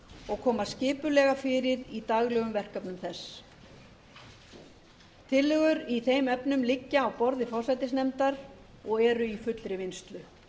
og koma skipulega fyrir í daglegum verkefnum þess tillögur í þeim efnum liggja á borði forsætisnefndar og eru í fullri vinnslu